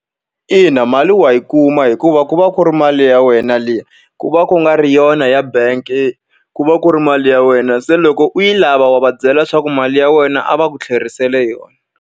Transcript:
Ina mali wa yi kuma hikuva ku va ku ri mali ya wena liya, ku va ku nga ri yona ya bank-i, ku va ku ri mali ya wena. Se loko u yi lava wa va byela leswaku mali ya wena a va ku tlherisele yona.